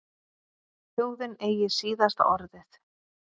Þjóðin eigi síðasta orðið